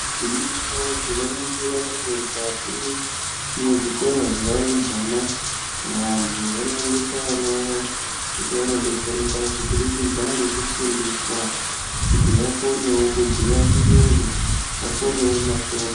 Gwinyiso tinoningira kuti mukati mwezvikora zvevarumbwana vantu vanoendesa vana vavo kuti vandodetsereka kubudikidza ngekufundiswa kuti vakonewo kubhuya chiyungu vakonewo masvomhu.